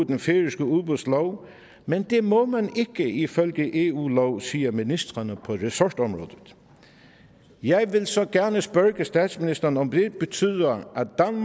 den færøske udbudslov men det må man ikke ifølge eu lov siger ministrene på ressortområdet jeg vil så gerne spørge statsministeren om det betyder